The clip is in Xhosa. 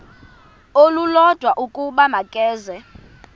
olulodwa ukuba makeze